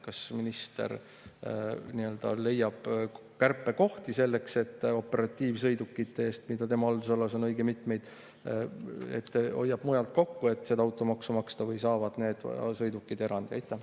Kas minister leiab kärpekohti selleks, et operatiivsõidukite eest, mida tema haldusalas on õige mitmeid, seda automaksu maksta, hoiab mujalt kokku, või saavad need sõidukid erandi?